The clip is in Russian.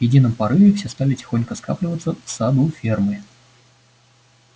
в едином порыве все стали тихонько скапливаться в саду фермы